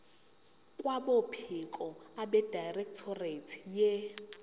kwabophiko abedirectorate ye